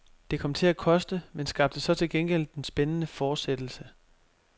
Det kom til at koste, men skabte så til gengæld den spændende fortsættelse.